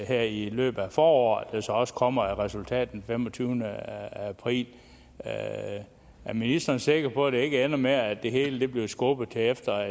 her i løbet af foråret også kommer et resultat den femogtyvende april er ministeren sikker på at det ikke ender med at det hele bliver skubbet til efter